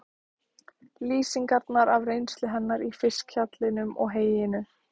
Lýsingarnar af reynslu hennar í fiskhjallinum og heyinu?